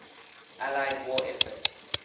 allied war effort